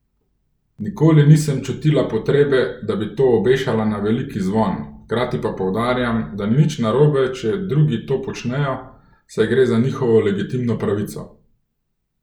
Nikoli nisem čutila potrebe, da bi to obešala na veliki zvon, hkrati pa poudarjam, da ni nič narobe, če drugi to počnejo, saj gre za njihovo legitimno pravico.